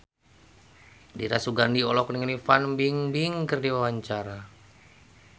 Dira Sugandi olohok ningali Fan Bingbing keur diwawancara